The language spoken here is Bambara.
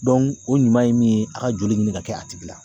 o ɲuman ye min ye a ka joli ɲini ka kɛ a tigi la